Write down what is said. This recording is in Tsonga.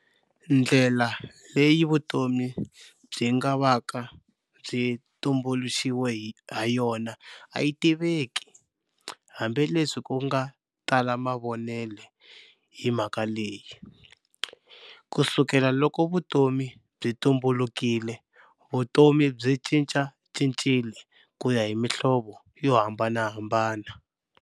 Ndlela leyi vutomi byingavaka byi tumbulixiwe hayona ayitiveki, hambi leswi kunga tala mavonele hi mhaka leyi. Kusukela loko vutomi byi tumbulukile, vutomi byi cincacincile kuya hi mihlovo yo hambanahambana.